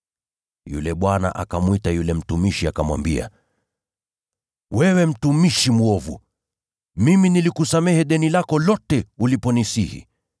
“Yule bwana akamwita yule mtumishi akamwambia, ‘Wewe mtumishi mwovu! Mimi nilikusamehe deni lako lote uliponisihi.